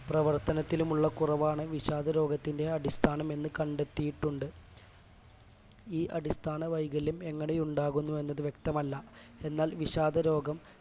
പ്രവർത്തനത്തിലുമുള്ള കുറവാണു വിഷാദരോഗത്തിന്റെ അടിസ്ഥാനം എന്ന് കണ്ടെത്തീട്ടുണ്ട് ഈ അടിസ്ഥാനവൈകല്യം എങ്ങനെ ഉണ്ടാകുന്നു എന്നത് വ്യക്തമല്ല എന്നാൽ വിഷാദരോഗം